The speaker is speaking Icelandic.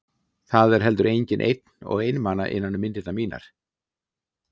Það er heldur enginn einn og einmana innan um myndirnar mínar.